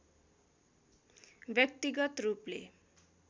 व्यक्तिगत रूपले